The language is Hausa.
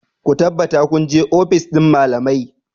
Ku tabbata kun je ofis ɗin malamai!